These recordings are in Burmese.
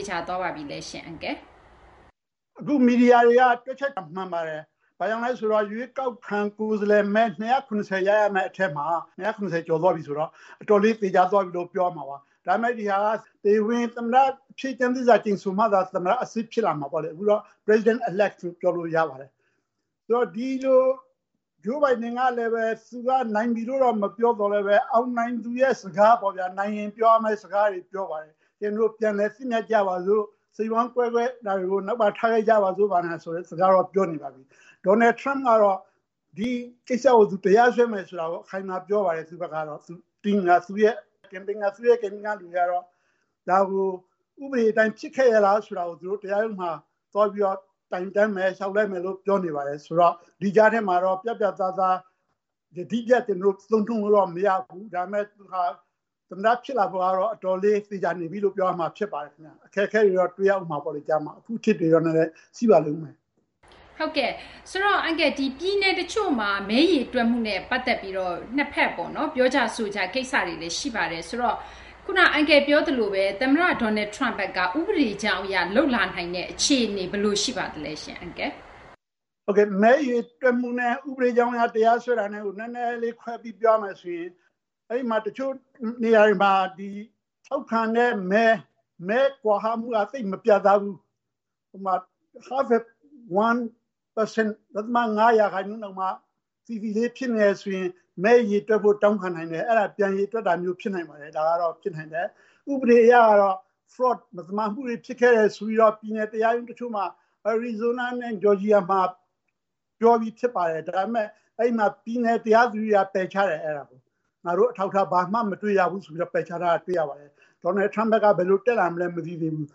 ေချာသွားပါပြီလားရှင့်။ “အခု မီဒီယာတွေက တွက်ချက်တာ မှန်ပါတယ်။ ဘာကြောင့်လဲဆိုတော့ ရွေးကောက်ခံ ကိုယ်စားလှယ်မဲ ၂၇၀ ရရမယ့်အထဲမှာ ၂၇၀ ကျော်သွားပြီဆိုတော့ အတော်လေး သေချာသွားပြီလို့ ပြောရမှာပါ။ ဒါပေမယ့် ဒီဟာက တရားဝင်သမ္မတအဖြစ် ကျမ်းသစ္စာ ကျိန်ဆိုမှ သမ္မတအစစ် ဖြစ်လာမှာပေါ့။ အခုတော့ President-elect လို့ ပြောလို့ရပါတယ်။ ဒီလို Joe Biden က သူနိုင်ပြီလို့ မပြောသော်လည်းပဲ အောင်နိုင်သူရဲ့ စကားပေါ့ဗျာ၊ နိုင်ရင် ပြောရမယ့်စကားတွေ ပြောပါတယ်။ ကျနော်တို့ ပြန်လည်သင့်မြတ်ကြပါစို့၊ စိတ်ဝမ်းကွဲတာတွေကို နောက်မှာ ထားခဲ့ကြပါစို့ ဆိုတဲ့ စကားကို ပြောနေပါပြီ။ Donald Trump ကတော့ ဒီကိစ္စကို သူ တရားစွဲမယ်ဆိုတာ အခိုင်အမာပြောပါတယ်၊ သူ့ဘက်ကတော့။ သူ့ရဲ့ Campaign ကလူတွေကတော့ ဒါကို ဥပဒေအတိုင်း ဖြစ်ခဲ့ရဲ့လားဆိုတာ သူတို့ တရားရုံးမှာ တိုင်တန်းမယ်၊ လျှောက်လဲမယ်လို့ ပြောနေပါတယ်။ ဆိုတော့ ဒီကြားထဲမှာတော့ ပြတ်ပြတ်သားသား ယတိပြတ် သုံးနှုန်းလို့တော့ မရဘူး။ ဒါပေမယ့် သူဟာ သမ္မတ ဖြစ်လာဖို့ကတော့ အတော်လေး သေချာနေပြီလို့ ပြောရမှာဖြစ်ပါတယ်။ အခက်အခဲတွေတော့ တွေ့ရဦးမှာပေါ့လေ ကြားမှာ၊ အဖုအထစ်တွေတော့ နည်းနည်း ရှိပါလိမ့်ဦးမယ်။” ပြည်နယ်တချို့မှာ မဲရေတွက်မှုနဲ့ ပတ်သက်ပြီးတော့ နှစ်ဖက် ပြောကြဆိုကြ ကိစ္စတွေလည်း ရှိပါတယ်။ ဆိုတော့ ခုန အန်ကယ်ပြောသလိုပဲ သမ္မတ Donald Trump ဘက်က ဥပဒေကြောင်းအရ လုပ်လာနိုင်တဲ့ အခြေအနေ ဘယ်လိုရှိပါသလဲ။ “မဲရေတွက်မှုနဲ့ ဥပဒေကြောင်းအရ တရားစွဲတာကို နည်းနည်းခွဲပြီး ပြောရမယ်ဆိုရင် တချို့နေရာတွေမှာ ထောက်ခံတဲ့မဲ မဲကွာဟမှုက သိပ်မပြတ်သားဘူး။ ဥပမာ.၅ ရာခိုင်နှုန်းတောင်မှ သီသီလေး ဖြစ်နေတယ်ဆိုရင် မဲရေတွက်ဖို့ တောင်းခံနိုင်တယ်။ အဲဒါ ပြန်ရေတွက်ဖို့ ဖြစ်နိုင်ပါတယ်။ ဒါကတော့ ဖြစ်နိုင်တယ်။ ဥပဒေအရကတော့ မသမာမှုတွေ ဖြစ်ခဲ့တယ်ဆိုပြီးတော့ ပြည်နယ်တရားရုံးတချို့မှာ အရီဇိုးနားနဲ့ ဂျော်ဂျီယာမှာ ပြောပြီးဖြစ်ပါတယ်။ ဒါပေမယ့် အဲဒီမှာ ပြည်နယ်တရားသူကြီးက ပယ်ချတယ်။ ‘ငါတို့ အထောက်အထား ဘာမှမတွေ့ရဘူး’ ဆိုပြီး ပယ်ချထားတာ တွေ့ရပါတယ်။ Donald Trump ဘက်က ဘယ်လိုတက်လာမလဲ မသိသေးဘူး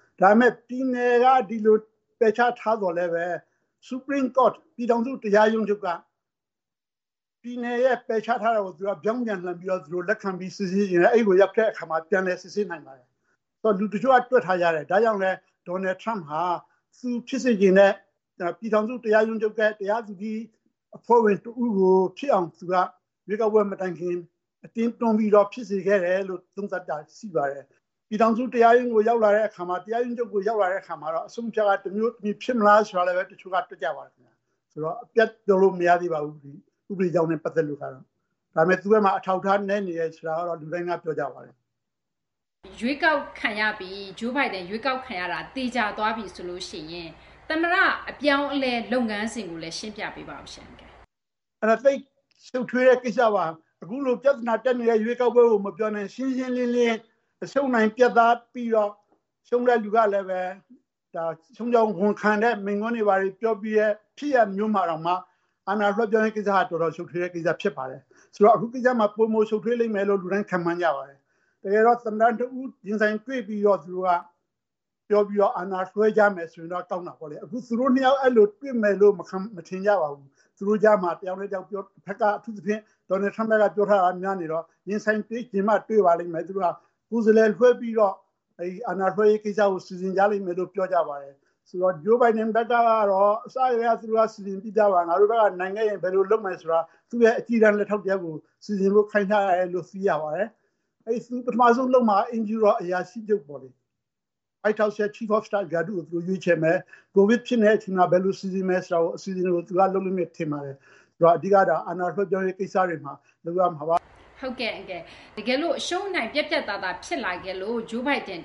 ။ ဒါပေမယ့် ပြည်နယ်က ဒီလို ပယ်ချထားသော်လည်းပဲ ပြည်ထောင်စုတရားရုံးချုပ်က ပြည်နယ်ရဲ့ ပယ်ချထားတာကို သူတို့က ပြောင်းပြန်လှန်ပြီး လက်ခံပြီး စစ်ဆေးချင်တယ်။ အဲဒီကို ရောက်တဲ့အခါမှာ ပြန်လည်စစ်ဆေးနိုင်ပါတယ်။ အဲတော့ လူတချို့က တွက်ထားကြတယ်။ ဒါကြောင့်လည်း Donald Trump ဟာ သူဖြစ်စေချင်တဲ့ ပြည်ထောင်စုတရားရုံးချုပ်ရဲ့ တရားသူကြီးအဖွဲ့ဝင် တဦးကို ဖြစ်အောင် သူက ရွေးကောက်ပွဲမတိုင်ခင် အတင်းတွန်းပြီး ဖြစ်စေခဲ့တယ်လို့ သုံးသပ်တာ ရှိပါတယ်။ ပြည်ထောင်စုတရားရုံးကို ရောက်လာတဲ့အခါမှာ တရားရုံးချုပ်ကို ရောက်လာခဲ့အခါမှာ အဆုံးအဖြတေ်က တမျိုးတမည် ဖြစ်မလားဆိုတာလည်း တချို့က တွက်ကြပါတယ်။ အပြတ်ပြောလို့ မရသေးပါဘူး။ ဥပဒေကြောင်းနဲ့ ပတ်သက်လို့ကတော့။ ဒါပေမယ့် သူ့ဘက်မှာ အထောက်အထား နည်းနေတယ် ဆိုတာကတော့ လူတိုင်းက ပြောကြပါတယ်။” Joe Biden ရွေးကောက်ခံရတာ သေချာသွားပြီဆိုရင် သမ္မတ အပြောင်းအလဲ လုပ်ငန်းစဉ်ကိုလည်း ရှင်းပြပေးပါဦး။ “အဲဒါ သိပ်ရှုပ်ထွေးတဲ့ကိစ္စပါ။ အခု ပြဿနာတက်နေတဲ့ ရွေးကောက်ပွဲကို မပြောနဲ့၊ ရှင်းရှင်းလင်းလင်း အရှုံးအနိုင် ပြတ်သားပြီးတော့ ရှုံးတဲ့လူကလည်း ရှုံးကြောင်းဝန်ခံတဲ့ မိန့်ခွန်းတွေ ဘာတွေ ပြောပြီးတဲ့ ဖြစ်ရပ်မျိုးမှာတောင်မှ အာဏာလွှဲပြောင်းရေးကိစ္စက တော်တော်ရှုပ်ထွေးတဲ့ကိစ္စ ဖြစ်ပါတယ်။ ဆိုတော့ အခုကိစ္စမှာ ပိုမိုရှုပ်ထွေးလိမ့်မယ်လို့ လူတိုင်းခန့်မှန်းကြပါတယ်။ တကယ်တော့ သမ္မတနှစ်ဦး ရင်ဆိုင်တွေ့ပြီးတော့ ပြောပြီးတော့ အာဏာလွှဲကြမယ်ဆိုရင်တော့ ကောင်းတာပေါ့။ အခုဆို သူတို့နှစ်ယောက် အဲဒီလို တွေ့မယ်လို့ မထင်ကြပါဘူး။ သူတို့ကြားမှာ တယောက်နဲ့တယောက် အထူးသဖြင့် Donald Trump ဘက်က ပြောထားတာ များနေတော့ ရင်ဆိုင်တွေ့ချင်မှ တွေ့ပါလိမ့်မယ်။ သူတို့က ကိုယ်စားလှယ်လွှဲပြီးတော့ အာဏာလွှဲရေးကိစ္စ စီစဉ်ကြလိမ့်မယ်လို့ ပြောကြပါတယ်။ Joe Biden ဘက်ကတော့ အစကတည်းက သူတို့ စီစဉ်ပြီးသားပါ။ ငါတို့ဘက်က နိုင်ခဲ့ရင် ဘယ်လိုလုပ်မယ်ဆိုတာ သူ့ရဲ့ အကြီးတန်း လက်ထောက်တယောက်ကို စီစဉ်ဖို့ ခိုင်းထားတယ်လို့ သိရပါတယ်။ ပထမဆုံးလုပ်မှာက အိမ်ဖြူတော် အရာရှိချုပ်ပေါ့။ White House ရဲ့ Chief of Staff ရာထူးကို သူတို့ရွေးချယ်မယ်။ ကိုဗစ်ဖြစ်နေတဲ့အချိန်မှာ ဘယ်လိုစီစဉ်မယ် ဆိုတာကို အစီအစဉ်ကို သူက လုပ်လိမ့်မယ် ထင်ပါတယ်။ အဓိကတော့ အာဏာလွှဲပြောင်းရေး ကိစ္စတွေမှာ လုပ်ရမှာပါ။” တကယ်လို့ အရှုံးအနိုင် ပြတ်ပြတ်သားသား ဖြစ်လာခဲ့လို့ Joe Biden အ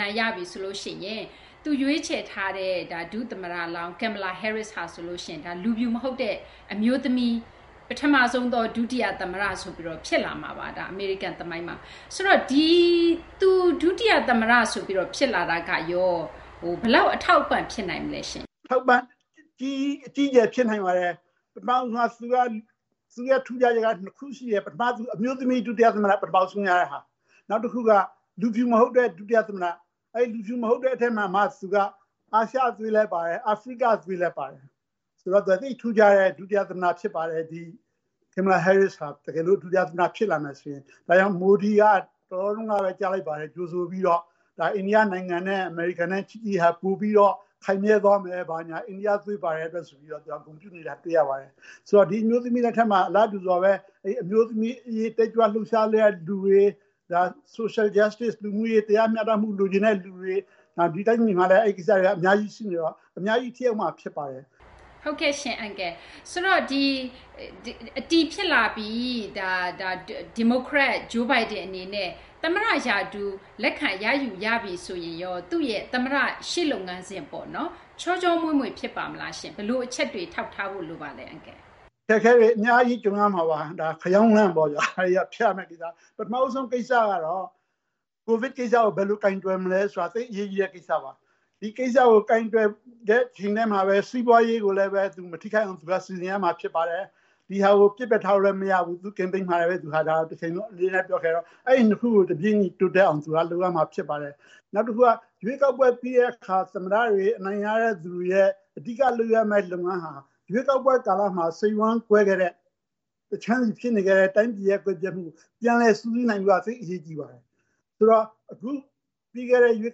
နိုင်ရပြီဆိုရင် သူရွေးချယ်ထားတဲ့ ဒုသမ္မတလောင်း Kamala Harris ဟာ လူဖြူမဟုတ်တဲ့ အမျိုးသမီး ပထမဆုံးသော ဒုတိယသမ္မတ ဖြစ်လာမှာပါ အမေရိကန်သမိုင်းမှာ။ သူ ဒုတိယသမ္မတဆိုပြီး ဖြစ်လာတာကရော ဘယ်လောက် အထောက်အပံ့ ဖြစ်နိုင်မလဲ။ “အထောက်အပံ့ အကြီးအကျယ် ဖြစ်နိုင်ပါတယ်။ သူ့ရဲ့ထူးခြားချက်က နှစ်ခုရှိတယ်။ ပထမတခုက အမျိုးသမီး ဒုတိယသမ္မတ ပထမဆုံးရတဲ့ဟာ။ နောက်တခုက လူဖြူမဟုတ်တဲ့ ဒုတိယသမ္မတ။ လူဖြူမဟုတ်တဲ့ အထဲမှာမှ သူက အာရှသွေးလည်းပါတယ်၊ အာဖရိကသွေးလည်းပါတယ်။ ဆိုတော့ သူက သိပ်ထူးခြားတဲ့ ဒုတိယသမ္မတ ဖြစ်ပါတယ်။ Kamala Harris ဟာ တကယ်လို့ ဒုတိယသမ္မတ ဖြစ်လာမယ်ဆိုရင်။ ဒါကြောင့် Modi က တလောတုန်းကပဲ ကြားလိုက်ပါတယ်၊ ကြိုဆိုပြီးတော့ အိန္ဒိယနိုင်ငံနဲ့ အမေရိကန်ရဲ့ ချစ်ကြည်ရေးဟာ ပိုပြီးတော့ ခိုင်မြဲသွားမယ်၊ အိန္ဒိယသွေး ပါတဲ့အတွက်ဆိုပြီးတော့ သူက ဂုဏ်ပြုနေတာ တွေ့ရပါတယ်။ ဆိုတော့ ဒီအမျိုးသမီးလက်ထက်မှာ အလားတူစွာပဲ အမျိုးသမီးအရေး တက်ကြွလှုပ်ရှားတဲ့လူတွေ၊ Social Justice လူမှုရေး တရားမျှတမှု လိုချင်တဲ့လူတွေ၊ ဒီတိုင်းပြည်မှာလည်း အဲဒီကိစ္စတွေက အများကြီးရှိနေတော့ အများကြီးထိရောက်မှာ ဖြစ်ပါတယ်။” တကယ်လို့ အတည်ဖြစ်လာပြီး ဒီမိုကရက် Joe Biden အနေနဲ့ သမ္မတရာထူး လက်ခံရယူပြီဆိုရင်ရော သူ့ရဲ့ သမ္မတရှေ့လုပ်ငန်းစဉ် ချောချောမွေ့မွေ့ ဖြစ်ပါ့မလား။ ဘယ်လိုအချက်တွေ ထောက်ထားဖို့လိုပါလဲ။ “အခက်အခဲတွေ အများကြီး ကြုံရမှာပါ။ ဒါ ခရောင်းလမ်းပေါ့ဗျာ၊ ဖြတ်ရမယ့်ကိစ္စ။ ပထမဦးဆုံးကိစ္စကတော့ ကိုဗစ်ကိစ္စကို ဘယ်လိုကိုင်တွယ်မလဲ ဆိုတာ သိပ်အရေးကြီးတဲ့ကိစ္စပါ။ ဒီကိစ္စကို ကိုင်တွယ်တဲ့ တချိန်တည်းမှာပဲ စီးပွားရေးကိုလည်း မထိခိုက်အောင် စီစဉ်ရမှာ ဖြစ်ပါတယ်။ ဒီဟာကို ပစ်ပယ်ထားလို့ မရဘူး။ သူ့ Campaign မှာလည်း ဒါကို အမြဲတမ်းပြောခဲ့တယ်။ အဲဒီနှစ်ခုကို တြပေးညီတိုးတက်အောင် သူလုပ်ရမှာ ဖြစ်ပါတယ်။ နောက်တခုက ရွေးကောက်ပွဲ ပြီးတဲ့အခါ သမ္မတတွေ အနိုင်ရတဲ့သူတွေရဲ့ အဓိကလုပ်ရမယ့် လုပ်ငန်းဟာ ရွေးကောက်ပွဲကာလမှာ စိတ်ဝမ်းကွဲခဲ့တဲ့ တခြမ်းစီဖြစ်နေခဲ့တဲ့ တိုင်းပြည်ရဲ့ ကွဲပြဲမှုကို ပြန်လည်စုစည်းနိုင်ဖို့က သိပ်အရေးကြီးပါတယ်။ အခုပြီးခဲ့တဲ့ ရွေး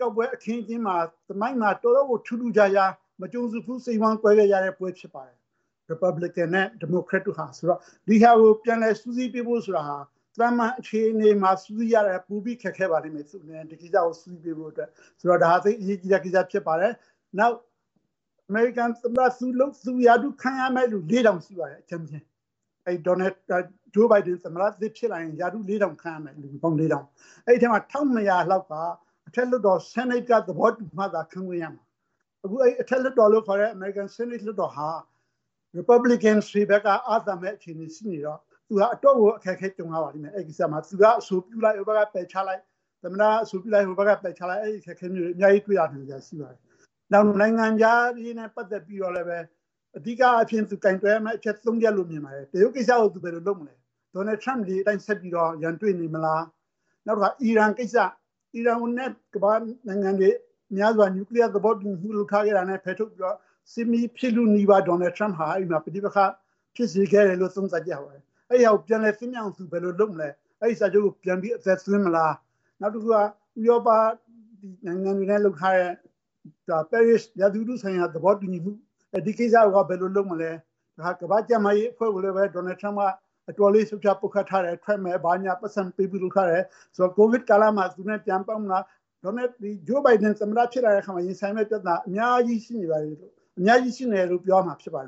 ကောက်ပွဲ အခင်းအကျင်းမှာ သမိုင်းမှာ တော်တော့်ကို ထူးထူးခြားခြား မကြုံစဘူး စိတ်ဝမ်းကွဲခဲ့ကြတဲ့ပွဲ ဖြစ်ပါတယ်၊ ရီပတ်ဘလစ်ကန်နဲ့ ဒီမိုကရက်တို့ဟာ။ ဆိုတော့ ဒီဟာကို ပြန်လည်စုစည်းပေးဖို့ ဆိုတာဟာ သာမန်အခြေအနေမှာ စုစည်းရတာထက် ပိုပြီး ခက်ခဲပါလိမ့်မယ် သူ့အနေနဲ့ ဒီကိစ္စကို စုစည်းပေးဖို့အတွက်။ ဆိုတော့ ဒါဟာ သိပ်အရေးကြီးတဲ့ကိစ္စ ဖြစ်ပါတယ်။ “နောက် အမေရိကန်သမ္မတ သူရာထူးခန့်အပ်ရမယ့်သူ ၄,၀၀၀ ရှိပါတယ် အကြမ်းဖျင်း။ Joe Biden သမ္မတသစ်ဖြစ်လာရင် ရာထူး ၄,၀၀၀ ခန့်ရမယ်။ အဲဒီထဲမှာ ၁,၂၀၀ လောက်က အထက်လွှတ်တော် ဆီးနိတ်က သဘောတူမှ ခန့်ခွင့်ရမှာ။ အခု အထက်လွှတ်တော်လို့ခေါ်တဲ့ အမေရိကန် ဆီးနိတ်လွှတ်တော်ဟာ ရီပတ်ဘလစ်ကန်တွေဘက်က အားသာမယ့် အခြေအနေ ရှိနေတော့ သူဟာ အတော့်ကို အခက်အခဲ ကြုံရပါလိမ့်မယ် အဲဒီကိစ္စမှာ။ သမ္မတက အဆိုပြုလိုက်၊ ဟိုဘက်က ပယ်ချလိုက် အဲဒီအခက်အခဲမျိုးတွေ အများကြီး တွေ့ရနိုင်စရာ ရှိပါတယ်။ နောက် နိုင်ငံခြားရေးနဲ့ ပတ်သက်ပြီးတော့လည်း အဓိကအားဖြင့် သူကိုင်တွယ်ရမယ့်အချက် ၃ ချက်လို့ မြင်ပါတယ်။ တရုတ်ကိစ္စကို သူဘယ်လိုလုပ်မလဲ၊ Donald Trump လေအတိုင်း ဆက်ပြီး ရန်တွေ့နေမလား၊ နောက်တခါ အီရန်ကိစ္စ၊ အီရန်နဲ့ ကမ္ဘာ့နိုင်ငံတွေ များစွာ နျူကလီးယား သဘောတူညီမှု လုပ်ထားခဲ့တာနဲ့ ဖယ်ထုတ်ပြီးတော့ စစ်မီး ဖြစ်လုနီးပါး Donald Trump ဟာ အဲဒီမှာ ပဋိပက္ခ ဖြစ်ခဲ့တယ်လို့ သုံးသပ်ကြပါတယ်။ အဲဒီဟာကို ပြန်လည်သင့်မြတ်အောင် သူဘယ်လိုလုပ်မလဲ။ အဲဒီစာချုပ်ကို ပြန်ပြီး အသက်သွင်းမလား။ နောက်တခုက ဥရောပနိုင်ငံတွေနဲ့ လုပ်ထားတဲ့ ပဲရစ် ရာသီဥတုဆိုင်ရာ သဘောတူညီမှု၊ ဒီကိစ္စကိုရော ဘယ်လိုလုပ်မလဲ၊ နောက် ကမ္ဘာ့ကျန်းမာရေးအဖွဲ့ကိုလည်း Donald Trump က အတော်လေး ရှုတ်ချ ပုတ်ခတ်ထားတယ်။ ထွက်မယ် ဘာညာ ပိုက်ဆံမပေးဘူး လုပ်ထားတယ်။ ဆိုတော့ ကိုဗစ်ကာလမှာ သူနဲ့ ပြန်ပတ်သက်မလား။ ဒါပေမယ့် Joe Biden သမ္မတ ဖြစ်လာတဲ့အခါမှာ ရင်ဆိုင်ရမယ့်ပြဿနာတွေ အများကြီးရှိနေတယ်လို့ ပြောရမှာဖြစ်ပါတယ်